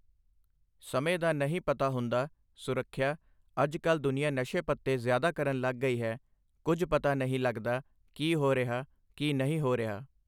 ਸਮੇਂ ਦਾ ਨਹੀਂ ਪਤਾ ਹੁੰਦਾ ਸੁਰੱਖਿਆ ਅੱਜ ਕੱਲ੍ਹ ਦੁਨੀਆ ਨਸ਼ੇ ਪੱਤੇ ਜ਼ਿਆਦਾ ਕਰਨ ਲੱਗ ਗਈ ਹੈ ਕੁਛ ਪਤਾ ਨਹੀਂ ਲੱਗਦਾ ਕੀ ਹੋ ਰਿਹਾ ਕੀ ਨਹੀਂ ਹੋ ਰਿਹਾ।